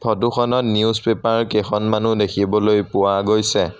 Photo খনত newspaper কেইখনমানো দেখিবলৈ পোৱা গৈছে।